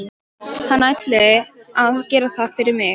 Hann ætli að gera það fyrir mig.